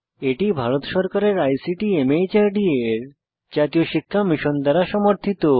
এটি ভারত সরকারের আইসিটি মাহর্দ এর জাতীয় শিক্ষা মিশন দ্বারা সমর্থিত